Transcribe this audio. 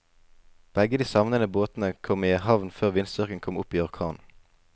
Begge de savnede båtene kom i havn før vindstyrken kom opp i orkan.